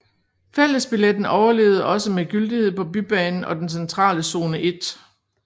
Fællesbilletten overlevede også med gyldighed på bybanen og den centrale zone 1